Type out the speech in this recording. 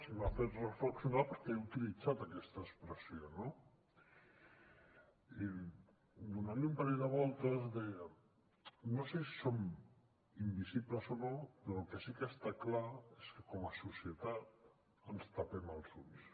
i m’ha fet reflexionar perquè he utilitzat aquesta expressió no i donant hi un parell de voltes deia no sé si som invisibles o no però el que sí que està clar és que com a societat ens tapem els ulls